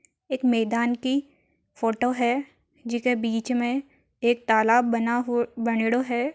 एक मैदान की फोटो है जीके बीच में एक तालाब बना हु बनेड़ो है।